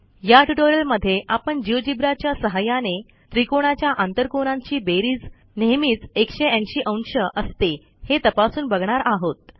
या ट्युटोरियलमध्ये आपण जिओजेब्रा च्या सहाय्याने त्रिकोणाच्या आंतरकोनांची बेरीज नेहमीच 180 अंश असते हे तपासून बघणार आहोत